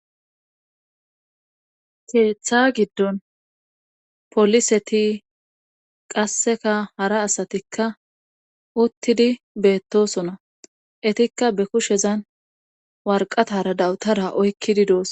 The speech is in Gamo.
Keeththa giddon poliseti qassekka hara asatikka uttidi beettosona etikka be kushezan warqatara dawutara oykkidi doosona